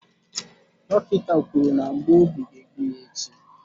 Dọkịta kwuru na mgbu obi ga egbu ya echi.